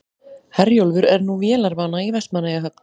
Herjólfur er nú vélarvana í Vestmannaeyjahöfn